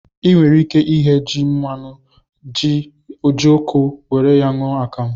I nwere ike ighe ji nwannu, ji, jioko, were ya ṅụọ akamụ